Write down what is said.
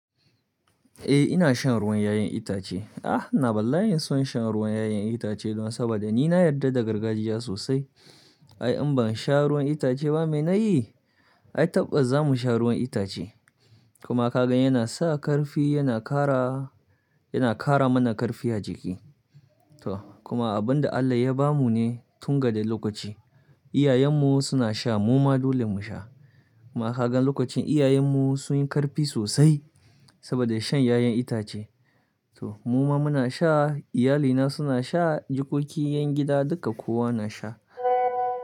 Eh ina shan ruwan 'ya'yan itace. Ah, ina bala'in son shan ruwan 'ya'yan itace don saboda ni na yarda da gargajiya sosai. Ai in ban sha ruwan itace ba mene yi? Ai tabbas za mu sha ruwan itace. Kuma ka gan yana sa ƙarfi, yana kara, yana kara mana ƙarfi a jiki. To kuma abin da Allah ya bamu ne tun daga lokaci. Iyayenmu suna sha mu ma dole mu sha. Kuma ka gan lokacin iyayenmu sun yi ƙarfi sosai saboda shan 'ya'yan itace. To mu ma muna sha, iyalina suna sha, jikokin 'yan gida duka kowa na sha.